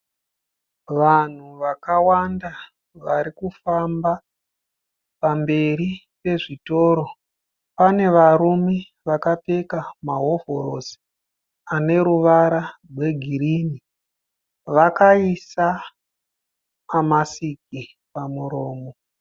Vanhu wakawanda vari kufamba pamberi pezvitoro. Pane varume vakapfeka mahovhorosi ane ruvara rwegirini. Vakaisa mamasiki pamuromo.